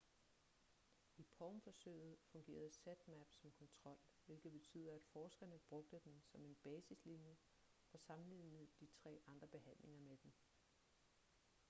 i palm-forsøget fungerede zmapp som kontrol hvilket betyder at forskerne brugte den som en basislinje og sammenlignede de tre andre behandlinger med den